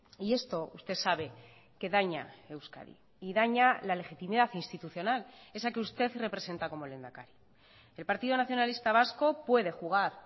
y esto usted sabe que daña euskadi y daña la legitimidad institucional esa que usted representa como lehendakari el partido nacionalista vasco puede jugar